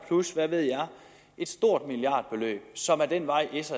plus hvad ved jeg et stort milliardbeløb som er den vej s